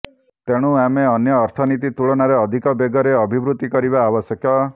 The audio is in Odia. ତେଣୁ ଆମେ ଅନ୍ୟ ଅର୍ଥନୀତି ତୁଳନାରେ ଅଧିକ ବେଗରେ ଅଭିବୃଦ୍ଧି କରିବା ଆବଶ୍ୟକ